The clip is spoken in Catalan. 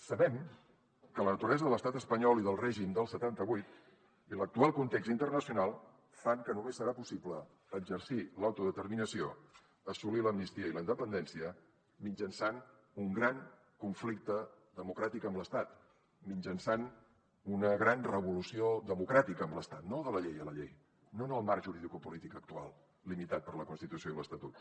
sabem que la naturalesa de l’estat espanyol i del règim del setanta vuit i l’actual context internacional fan que només serà possible exercir l’autodeterminació assolir l’amnistia i la independència mitjançant un gran conflicte democràtic amb l’estat mitjançant una gran revolució democràtica amb l’estat no de la llei a la llei no en el marc juridicopolític actual limitat per la constitució i l’estatut